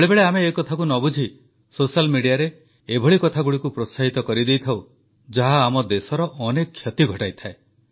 ବେଳେବେଳେ ଆମେ ଏକଥାକୁ ନ ବୁଝି ସୋସିଆଲ୍ Mediaରେ ଏଭଳି କଥାଗୁଡ଼ିକୁ ପ୍ରୋତ୍ସାହିତ କରିଥାଉ ଯାହା ଆମ ଦେଶର ଅନେକ କ୍ଷତି ଘଟାଇଥାଏ